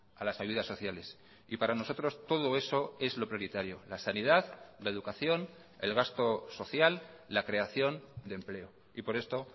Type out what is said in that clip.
a las ayudas sociales y para nosotros todo eso es lo prioritario la sanidad la educación el gasto social la creación de empleo y por esto